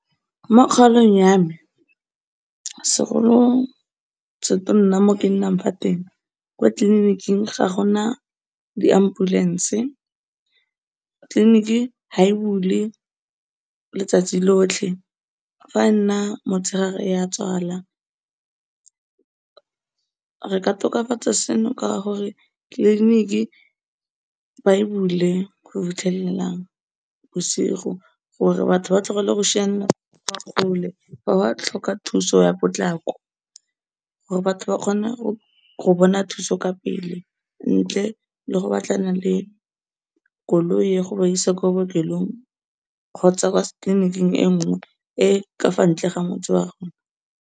Mokgaolong ya me, segolosetonna mo kennang fa teng, kwa tleliniking ga gona diambulense, tleliniki ha e bule letsatsi lotlhe, fa enna motshegare ya tswala. Re ka tokafatsa seno, ka gore tleliniki ba e bule go fitlhelela bosigo gore batho ba tlogele go kwa kgole, fa ba tlhoka thuso ya potlako, gore batho ba kgone go bona thuso ka pele, ntle le go batlana le koloi ya go ba isa kwa bookelong kgotsa kwa tleliniking enngwe e e ka fa ntle le motse wa rona